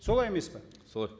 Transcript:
солай емес пе солай